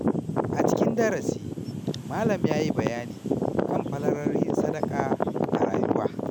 A cikin darasi, malam ya yi bayani kan falalar yin sadaka a rayuwa.